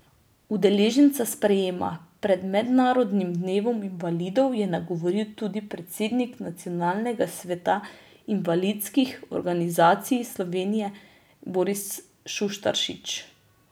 Udeležence sprejema pred mednarodnim dnevom invalidov je nagovoril tudi predsednik Nacionalnega sveta invalidskih organizacij Slovenije Boris Šuštaršič.